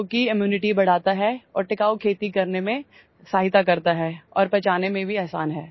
जो की इम्यूनिटी बढ़ाता है और टिकाऊ खेती करने में सहायता करता है और पचाने में भी आसान है